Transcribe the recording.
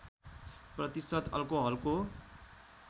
प्रतिशत अल्कोहलको